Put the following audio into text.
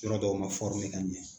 Yɔrɔ dɔw ma ka ɲɛ.